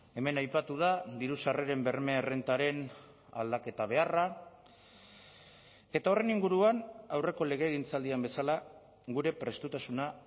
hemen aipatu da diru sarreren berme errentaren aldaketa beharra eta horren inguruan aurreko legegintzaldian bezala gure prestutasuna